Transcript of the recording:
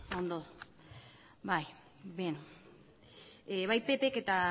bai ondo bai ppk eta